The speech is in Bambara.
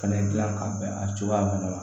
Fɛnɛ gilan ka bɛn a cogoya ma wa